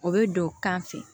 O bɛ don kan fɛ